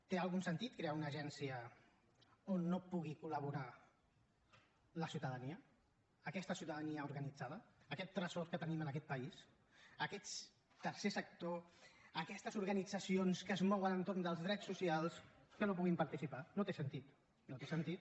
té algun sentit crear una agència on no pugui col·laborar la ciutadania aquesta ciutadania organitzada aquest tresor que tenim en aquest país aquest tercer sector aquestes organitzacions que es mouen entorn dels drets socials que no hi puguin participar no té sentit no té sentit